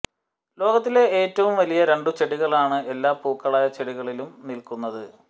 ലോകത്തിലെ ഏറ്റവും വലിയ രണ്ടു ചെടികളാണ് എല്ലാ പൂക്കളായ ചെടികളിലും നിൽക്കുന്നത്